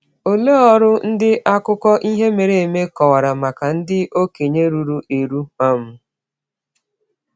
Olee ọrụ ndị akụkọ ihe mere eme kọwara maka ndị okenye ruru eru? um